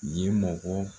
Ye mɔgɔ